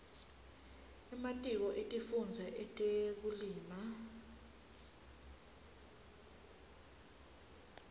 ematiko etifundza etekulima